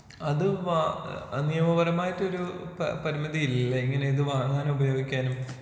അത് വാ ഏഹ് നിയമപരമായിട്ടൊരൂ പരിമിതി ഇല്ലേ ഇങ്ങനേ ഇത് വാങ്ങാനും ഉപയോഗിക്കാനും?